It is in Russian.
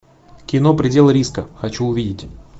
кино предел риска хочу увидеть